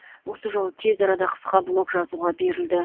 осы жолы тез арада қысқа блок жазуға берілді